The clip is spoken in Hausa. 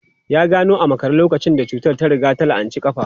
Ya gano a makare lokacin da cutar ta riga ta la'anci kafa.